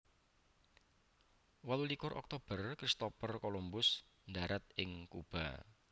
Wolu likur Oktober Christopher Columbus ndharat ing Kuba